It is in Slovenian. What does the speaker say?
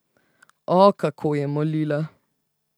O, kako je molila.